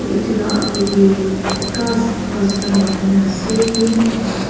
etu la akeh dae kas kas kan lakai na ase aro.